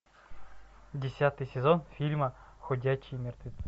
десятый сезон фильма ходячие мертвецы